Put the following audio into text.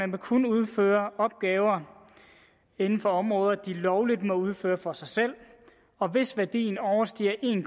må kun udføre opgaver inden for områder hvor de lovligt må udføre dem for sig selv og hvis værdien overstiger en